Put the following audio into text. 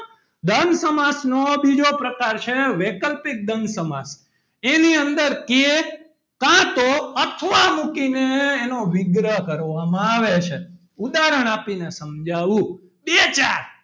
દ્વંદ સમાસ નો બીજો પ્રકાર છે વૈકલ્પિક દ્વંદ સમાસ એની અંદર કે કાં તો અથવા મૂકીને એનો વિગ્રહ કરવામાં આવે છે ઉદાહરણ આપીને સમજાવું બે ચાર,